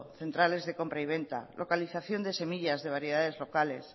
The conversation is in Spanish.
centrales de compra y venta localización de semillas de variedades locales